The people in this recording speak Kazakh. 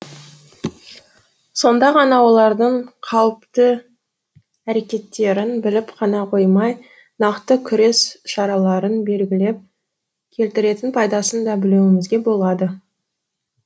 сонда ғана олардың қауіпті әрекеттерін біліп қана қоймай нақты күрес шараларын белгілеп келтіретін пайдасын да білуімізге болады